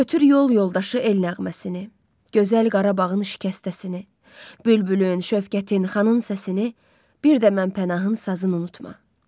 Götür yol yoldaşı el nəğməsini, Gözəl Qarabağın şikəstəsini, Bülbülün, şöfqətin, xanın səsini, bir də mən Pənahın sazını unutma.